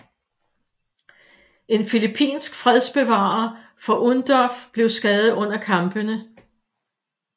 En filippinsk fredsbevarer fra UNDOF blev skadet under kampene